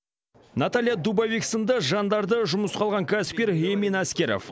наталья дубовик сынды жандарды жұмысқа алған кәсіпкер эмин әскеров